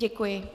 Děkuji.